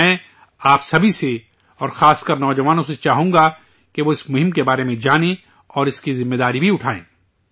میں، آپ سبھی سے، اور خاص کر، نوجوانوں سے چاہوں گا کہ وہ اس مہم کے بارے میں جانیں اور اس کی ذمہ داری بھی اٹھائیں